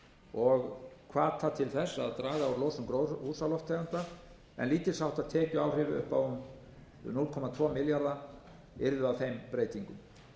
og hvata til þess að draga úr losun gróðurhúsalofttegunda en lítils háttar tekjuáhrif upp á um núll komma tvo milljarða króna yrðu af þeim breytingum